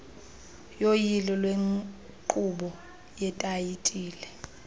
yoyilo lwenkqubo yetayitile